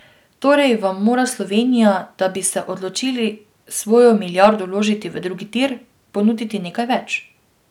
Torej vam mora Slovenija, da bi se odločili svojo milijardo vložiti v drugi tir, ponuditi nekaj več.